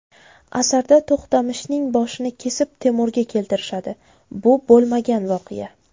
Asarda To‘xtamishning boshini kesib Temurga keltirishadi, bu bo‘lmagan voqea.